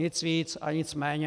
Nic víc a nic méně.